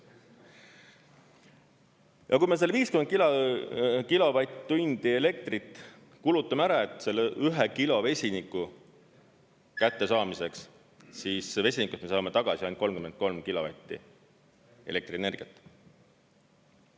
Ja kui me selle 50 kilovatt-tundi elektrit kulutame ära selle 1 kilo vesiniku kättesaamiseks, siis vesinikust me saame tagasi ainult 33 kilovatti elektrienergiat.